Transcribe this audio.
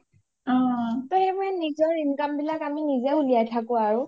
টৌ সেইবোৰ নিজৰ income বিলাক আমি নিজে উলিয়াই থাকো আৰু